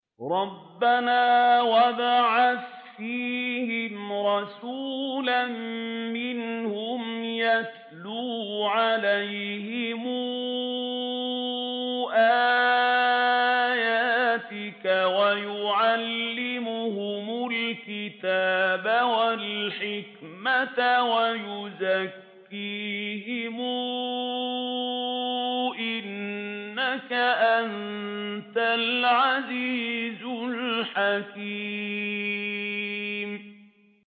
رَبَّنَا وَابْعَثْ فِيهِمْ رَسُولًا مِّنْهُمْ يَتْلُو عَلَيْهِمْ آيَاتِكَ وَيُعَلِّمُهُمُ الْكِتَابَ وَالْحِكْمَةَ وَيُزَكِّيهِمْ ۚ إِنَّكَ أَنتَ الْعَزِيزُ الْحَكِيمُ